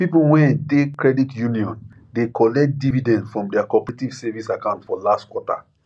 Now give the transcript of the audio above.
people wey de credit union de collect dividend from their cooperative savings account for last quarter